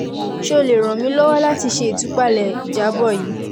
ṣe o le ran mi lọwọ lati ṣe itupalẹ ijabọ yii